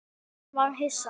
Hún varð hissa.